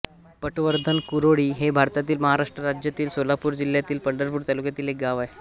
पटवर्धनकुरोळी हे भारतातील महाराष्ट्र राज्यातील सोलापूर जिल्ह्यातील पंढरपूर तालुक्यातील एक गाव आहे